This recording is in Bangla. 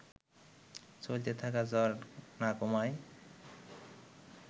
চলতে থাকা জ্বর না কমায়